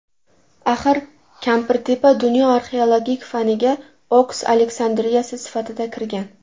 Axir Kampirtepa dunyo arxeologik faniga Oks Aleksandriyasi sifatida kirgan.